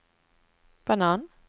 banan